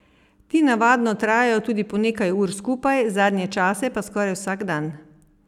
Ti navadno trajajo tudi po nekaj ur skupaj, zadnje čase pa skoraj vsak dan.